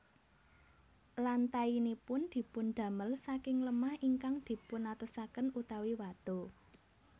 Lantainipun dipundamel saking lemah ingkang dipunatosaken utawi watu